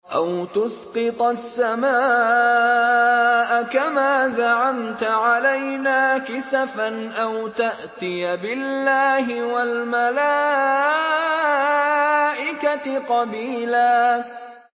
أَوْ تُسْقِطَ السَّمَاءَ كَمَا زَعَمْتَ عَلَيْنَا كِسَفًا أَوْ تَأْتِيَ بِاللَّهِ وَالْمَلَائِكَةِ قَبِيلًا